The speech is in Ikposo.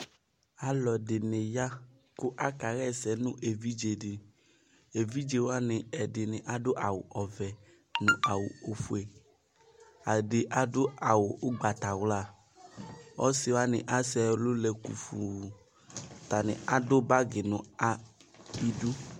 ɔlʊɛɖɩnɩƴa ƙʊ aƙaƴaɛsɛ nʊ ɛʋɩɖjɛɖi ɛʋɩɖjɛwani ɛɗiniaɗu awʊʋɛ nʊ awu oƒoɛ ɛɖi aɖu awu ʊgɓatawla ɔsɩwanɩ asɛɛlʊlɛƙʊƒʊ atani atʊɓaƙɩ nʊ ɩɖʊ